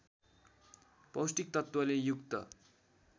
पौष्टिक तत्त्वले युक्त